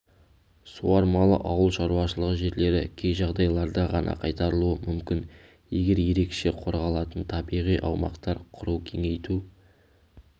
суармалы ауыл шаруашылығы жерлері кей жағдайларда ғана қайтарылуы мүмкін егер ерекше қорғалатын табиғи аумақтар құру кеңейту